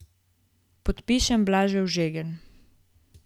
Predpišem blažev žegen.